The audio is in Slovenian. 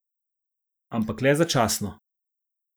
Ampak le začasno.